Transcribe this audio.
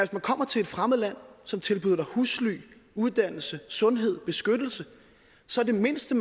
du kommer til et fremmed land som tilbyder dig husly uddannelse sundhed beskyttelse så er det mindste